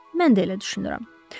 Mən də elə düşünürəm.